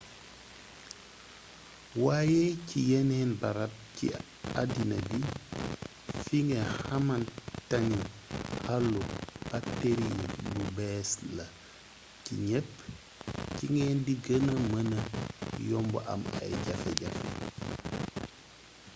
waaye ci yeneen barab ci addina bi fi nga xamantane àllu bakteri yi lu bees la ci ñépp ci ngeen di gëna mëna yomba am ay jafe-jafe